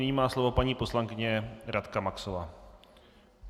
Nyní má slovo paní poslankyně Radka Maxová.